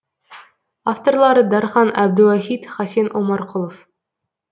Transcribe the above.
авторлары дархан әбдуахит хасен омарқұлов